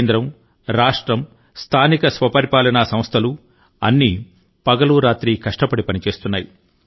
కేంద్రం రాష్ట్రం స్థానిక స్వపరిపాలనా సంస్థలు అన్నీ పగలు రాత్రి కష్టపడి పనిచేస్తున్నాయి